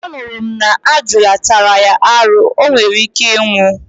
anuru m na ajuala tara ya aru, onwerike inwu